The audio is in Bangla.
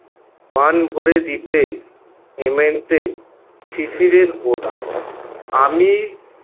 প্রাণ ভরে দিতে হেমন্তে শিশিরের আমি